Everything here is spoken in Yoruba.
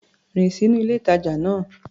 Rìn sínú ilé-ìtàjà náà.